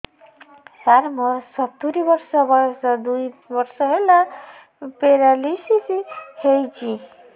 ସାର ମୋର ସତୂରୀ ବର୍ଷ ବୟସ ଦୁଇ ବର୍ଷ ହେଲା ପେରାଲିଶିଶ ହେଇଚି